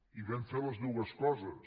i vam fer totes dues coses